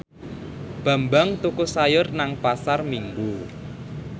Bambang tuku sayur nang Pasar Minggu